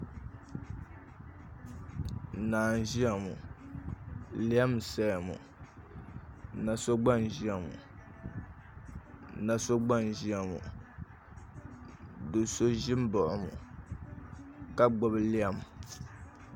Naa n ʒiya ŋo lɛm n saya ŋo na so gba n ʒiya ŋo do so ʒi n baɣa o mi ka gbubi lɛm